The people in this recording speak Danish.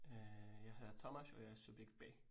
Øh jeg hedder Thomas, og jeg er subjekt B